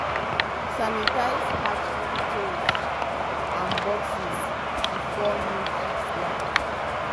sanitize hatchery tools and boxes before new chicks land.